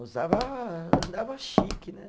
Usava, andava chique, né?